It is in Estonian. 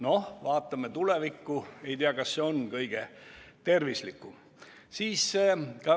Noh, vaatame tulevikku, ei tea, kas see on kõige tervislikum.